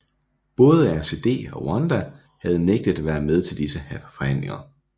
Både RCD og Rwanda havde nægtet at være med til disse forhandlinger